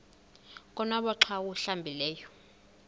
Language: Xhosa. konwaba xa awuhlambileyo